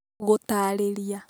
Gũtaarĩria